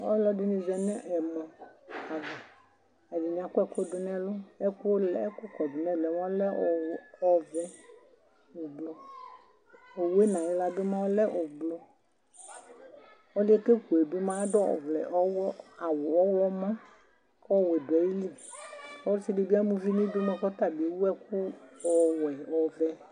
Ɔlɔdini zanu ɛmɔ ɛdini akɔ ɛku du nu ɛlu ɛku kɔ du nu ɛlu yɛ ɔlɛ ɔvɛ ublu owu nu ayi wla yɛ lɛ ublu ɔliɛ ku keku bi mua adu awu ɔɣlomɔ ku ɔwɛ du ayili ɔsidibi ama uvi nidu kutabi ewu ɛku ɔwɛ ɔvɛ